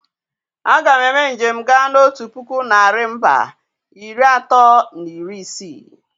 A ga m eme njem gaa na otu puku narị mbà iri atọ na iri isii.